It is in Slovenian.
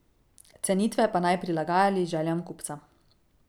Cenitve pa naj prilagajali željam kupca.